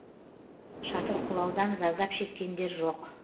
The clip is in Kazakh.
шатыр құлаудан зардап шеккендер жоқ